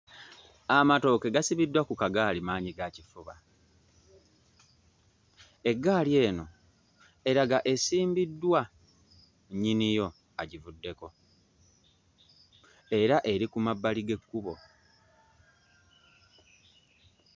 Amatooke gasibiddwa ku kagaali maanyigakifuba. Eggali eno eraga esimbiddwa, nnyini yo agivuddeko era eri ku mabbali g'ekkubo.